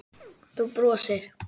Þú brosir.